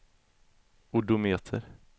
odometer